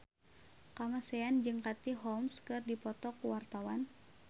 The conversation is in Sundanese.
Kamasean jeung Katie Holmes keur dipoto ku wartawan